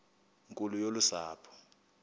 nkulu yolu sapho